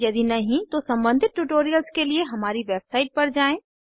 यदि नहीं तो सम्बंधित ट्यूटोरियल्स के लिए हमारी वेबसाइट पर जाएँ